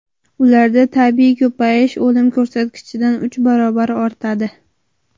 Ularda tabiiy ko‘payish o‘lim ko‘rsatkichidan uch barobar ortadi.